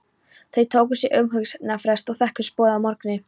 Þau tóku sér umhugsunarfrest en þekktust boðið að morgni.